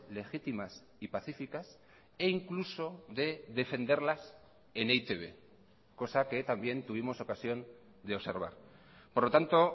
legítimas y pacíficas e incluso de defenderlas en e i te be cosa que también tuvimos ocasión de observar por lo tanto